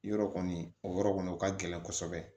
Yɔrɔ kɔni o yɔrɔ kɔni o ka gɛlɛn kosɛbɛ